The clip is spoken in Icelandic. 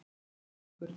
Tímarit og bækur.